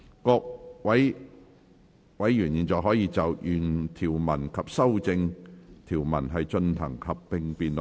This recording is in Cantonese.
各位委員現在可以就原條文及修正案進行合併辯論。